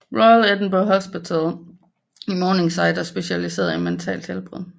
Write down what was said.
Royal Edinburgh Hospital i Morningside er specialiseret i mentalt helbred